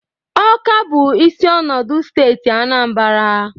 Ọka bụ isi ọnọdụ steeti Anambara.